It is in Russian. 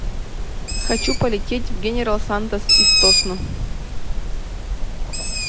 хочу полететь в генерал сантос из тосно